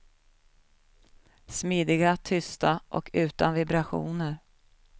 Smidiga, tysta och utan vibrationer.